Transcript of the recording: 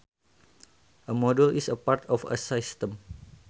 A module is a part of a system